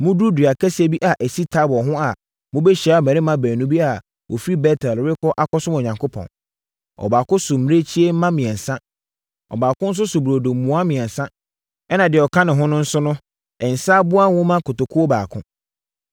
“Moduru dua kɛseɛ bi a ɛsi Tabor ho a mobɛhyia mmarima baasa bi a wɔfiri Bet-El rekɔ akɔsom Onyankopɔn. Ɔbaako so mmirekyie mma mmiɛnsa, ɔbaako nso so burodo mua mmiɛnsa ɛnna deɛ ɔka ho no nso so nsã aboa nwoma kotokuo baako.